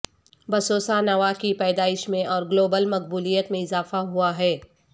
bossa nova کی پیدائش میں اور گلوبل مقبولیت میں اضافہ ہوا ہے